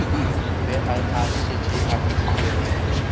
ge a šetše a fihlile